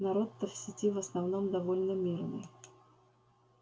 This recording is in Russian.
народ-то в сети в основном довольно мирный